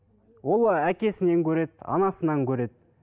ол ыыы әкесінен көреді анасынан көреді